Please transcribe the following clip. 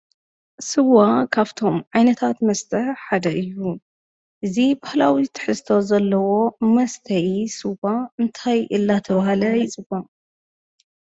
ስዋ ካብቶም ዓይነታት መስተ ሓደ እዩ፡፡ እዚ ባህላዊ ትሕዝቶ ዘለዎ መስተዪ ስዋ እንታይ እናተባህለ ይፅዋዕ?